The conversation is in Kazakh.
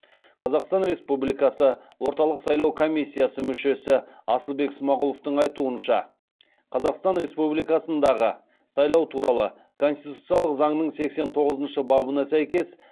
қазақстан республикасы орталық сайлау комиссиясы мүшесі асылбек смағұловтың айтуынша қазақстан республикасындағы сайлау туралы конституциялық заңның сексен тоғызыншы бабына сәйкес